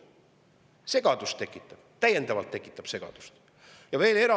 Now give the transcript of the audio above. Kuid see tekitab segadust, see tekitab täiendavat segadust!